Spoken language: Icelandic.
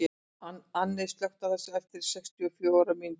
Anney, slökktu á þessu eftir sextíu og fjórar mínútur.